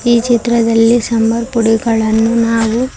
ಈ ಚಿತ್ರದಲ್ಲಿ ಸಾಂಬಾರ್ ಪುಡಿಗಳನ್ನು ನಾವು--